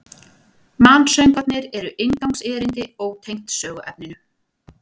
Mansöngvarnir eru inngangserindi, ótengd söguefninu.